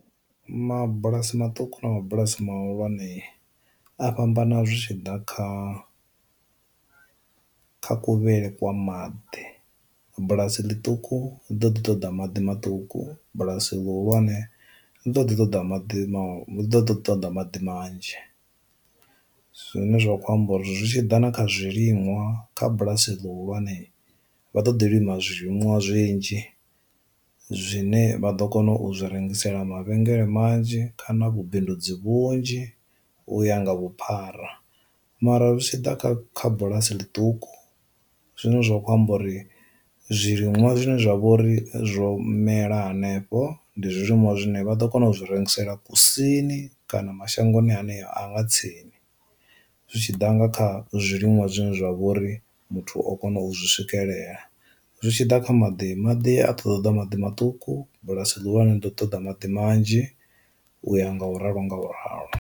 Mabulasi maṱuku na mabulasi mahulwane a fhambana zwi tshi ḓa kha kha ku vheyele kwa maḓi, bulasi ḽiṱuku ḽi ḓo ḓi ṱoḓa maḓi maṱuku bulasi luhulwane ḽi ḓo ḓi ṱoḓa maḓi do to ṱoḓa maḓi manzhi. Zwine zwa khou amba uri zwi tshi ḓa na kha zwiliṅwa kha bulasi ḽihulwane vha ḓo ḓi lima zwi liṅwa zwinzhi zwine vha ḓo kona u zwi rengisela mavhengele manzhi khana vhubindudzi vhunzhi u ya nga vhuphara, mara zwi tshi ḓa kha kha bulasi ḽiṱuku zwine zwa khou amba uri zwiliṅwa zwine zwa vhouri zwo mela hanefho ndi zwilimwa zwine vha ḓo kona u zwi rengisela kusini kana mashangoni haneyo anga tsini, zwi tshi ḓa nga kha zwiḽiwa zwiḽiwa zwine zwa vhori muthu o kona u zwi swikelela. Zwi tshi ḓa kha maḓi, maḓi a ṱoḓa maḓi maṱuku bulasi luhulwane ḓo ṱoḓa maḓi manzhi u ya nga u ralo nga u ralo.